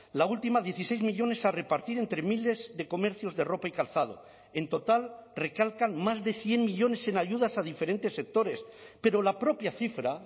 la última dieciséis millónes a repartir entre miles de comercios de ropa y calzado en total recalcan más de cien millónes en ayudas a diferentes sectores pero la propia cifra